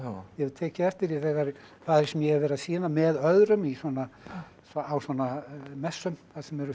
ég hef tekið eftir því þar sem ég hef verið að sýna með öðrum á svona messum þar sem eru